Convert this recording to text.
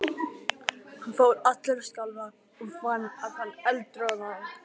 Hann fór allur að skjálfa og fann að hann eldroðnaði.